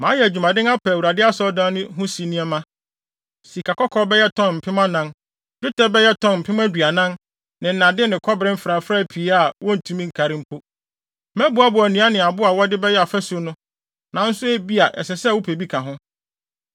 “Mayɛ adwumaden apɛ Awurade Asɔredan no si ho nneɛma, sikakɔkɔɔ bɛyɛ tɔn mpem anan (4,000), dwetɛ bɛyɛ tɔn mpem aduanan (40,000) ne nnade ne kɔbere mfrafrae pii a wontumi nkari mpo. Maboaboa nnua ne abo a wɔde bɛyɛ afasu no, nanso ebia ɛsɛ sɛ wopɛ bi ka ho.